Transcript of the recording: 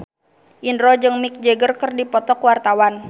Indro jeung Mick Jagger keur dipoto ku wartawan